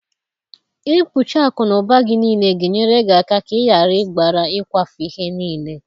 Ikpuchi akụ n'ụba gị niile ga-enyere gị aka ka ị ghara ịgbara ịkwafu ihe niile.